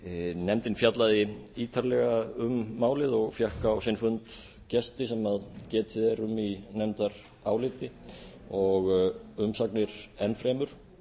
nefndin fjallaði ítarlega um málið og fékk á sinn fundi gesti sem getið er um í nefndaráliti og umsagnir enn fremur